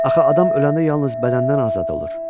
Axı adam öləndə yalnız bədəndən azad olur.